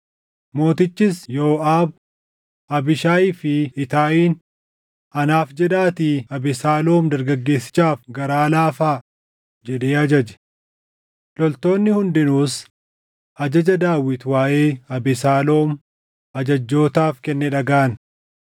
Mootichis Yooʼaab, Abiishaayii fi Itaayiin, “Anaaf jedhaatii Abesaaloom dargaggeessichaaf garaa laafaa” jedhee ajaje. Loltoonni hundinuus ajaja Daawit waaʼee Abesaaloom ajajjootaaf kenne dhagaʼan.